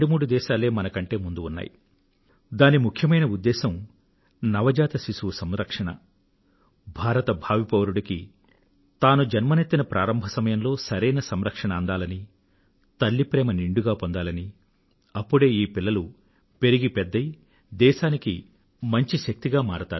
దాని ముఖ్యోద్దేశం నవజాత శిశువు సంరక్షణ భారత భావి పౌరుడికి తాను జన్మనెత్తిన ప్రారంభ సమయంలో సరైన సంరక్షణ అందాలని తల్లి ప్రేమ నిండుగా పొందాలని అప్పుడే ఈ పిల్లలు పెరిగి పెద్దయి దేశానికి మంచి శక్తిగా మారతారు